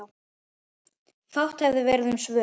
Fátt hefði verið um svör.